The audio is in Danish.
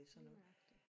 Lige nøjagtigt